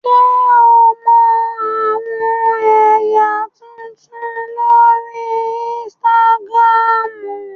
Ṣe o mọ awọn ẹya tuntun lori Instagram?